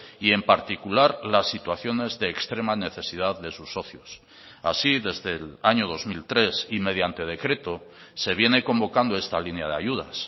y en particular las situaciones de extrema necesidad de sus socios así desde el año dos mil tres y mediante decreto se viene convocando esta línea de ayudas